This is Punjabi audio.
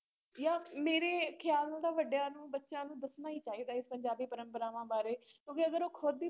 ਜਾਂ ਮੇਰੇ ਖ਼ਿਆਲ ਨਾਲ ਤਾਂ ਵੱਡਿਆਂ ਨੂੰ ਬੱਚਿਆਂ ਨੂੰ ਦੱਸਣਾ ਹੀ ਚਾਹੀਦਾ ਇਸ ਪੰਜਾਬੀ ਪਰੰਪਰਾਵਾਂ ਬਾਰੇ ਕਿਉਂਕਿ ਅਗਰ ਉਹ ਖੁੱਦ ਹੀ